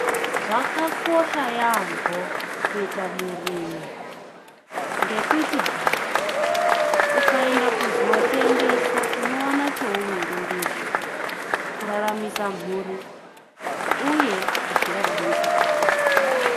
Zvakakosha yaambo kuita murimi, ngekuti hai ukaende kuzootengesa unowona cheuviri ndizvo, kuraramisa mhuri uye kudziraramisa pachako.